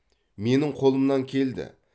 менің қолымнан келді